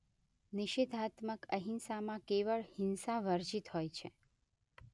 નિષેધાત્મક અહિંસામાં કેવળ હિંસા વર્જિત હોય છે